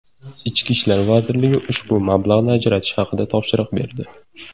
Ichki ishlar vazirligi ushbu mablag‘ni ajratish haqida topshiriq berdi.